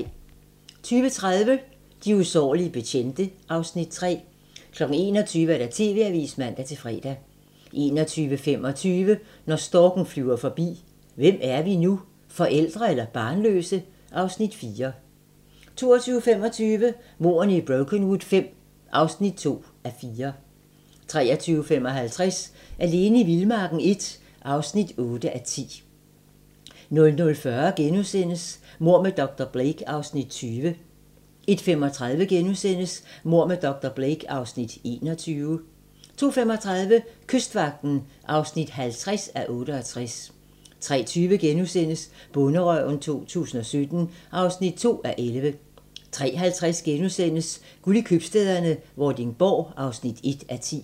20:30: De usårlige betjente (Afs. 3) 21:00: TV-avisen (man-fre) 21:25: Når storken flyver forbi – Hvem er vi nu? Forældre eller barnløse? (Afs. 4) 22:25: Mordene i Brokenwood V (2:4) 23:55: Alene i vildmarken I (8:10) 00:40: Mord med dr. Blake (Afs. 20)* 01:35: Mord med dr. Blake (Afs. 21)* 02:35: Kystvagten (50:68) 03:20: Bonderøven 2017 (2:11)* 03:50: Guld i købstæderne - Vordingborg (1:10)*